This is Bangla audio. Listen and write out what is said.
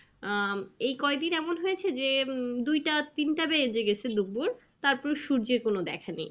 আহ এই কয় দিন এমন হয়েছে যে উম দুইটা তিনটা বেজে গেছে দুপুর তারপর সূর্যের কোনো দেখা নেই।